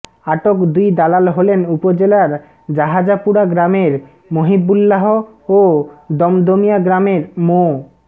আটক দুই দালাল হলেন উপজেলার জাহাজাপুরা গ্রামের মহিবুল্লাহ ও দমদমিয়া গ্রামের মো